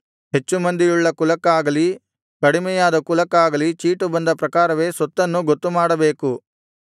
ಹೆಚ್ಚು ಮಂದಿಯುಳ್ಳ ಕುಲಕ್ಕಾಗಲಿ ಕಡಿಮೆಯಾದ ಕುಲಕ್ಕಾಗಲಿ ಚೀಟು ಬಂದ ಪ್ರಕಾರವೇ ಸ್ವತ್ತನ್ನು ಗೊತ್ತುಮಾಡಬೇಕು